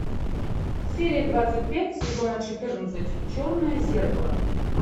серия двадцать пять сезона четырнадцать черное зеркало